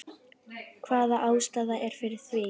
Hvaða ástæða er fyrir því?